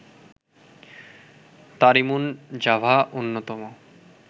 তারিমুন জাভা অন্যতম